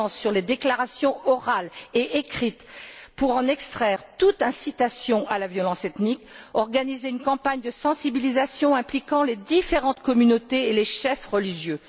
les déclarations orales et écrites pour en extraire toute incitation à la violence ethnique, organiser une campagne de sensibilisation impliquant les différentes communautés et les chefs religieux.